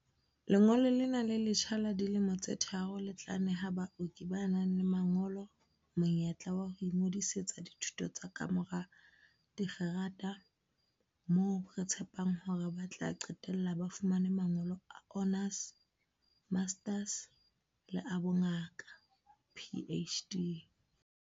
"Lengolo lena le letjha la dilemo tse tharo le tla neha baoki ba nang le mangolo monyetla wa ho ingodisetsa dithuto tsa kamora dikgerata, moo re tshepang hore ba tla qetella ba fumane mangolo a honours, masters le a bongaka, PhD."